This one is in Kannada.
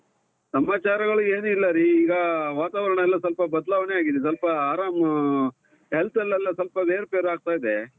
ಸಮಾಚಾರಗಳು ಏನಿಲ್ಲರೀ, ಈಗ ವಾತಾವರಣ ಎಲ್ಲಾ ಸ್ವಲ್ಪ ಬದಲಾವಣೆ ಆಗಿದೆ ಸ್ವಲ್ಪ ಆರಾಮ್, health ಅಲ್ಲೆಲ್ಲಾ ಸ್ವಲ್ಪ ಏರು ಪೇರು ಆಗ್ತಾ ಇದೆ.